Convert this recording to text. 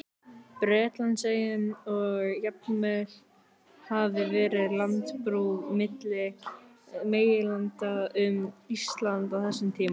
Bretlandseyjum, og að jafnvel hafi verið landbrú milli meginlanda um Ísland á þessum tíma.